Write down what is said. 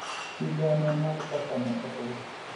Sigana mar kaka ne otur